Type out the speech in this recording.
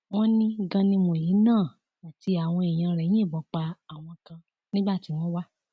wọn ní ganimù yìí náà àti àwọn èèyàn rẹ yìnbọn pa àwọn kan nígbà tí wọn wà